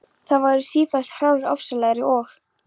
Þær verða sífellt hrárri, ofsalegri og